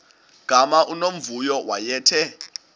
gama unomvuyo wayethe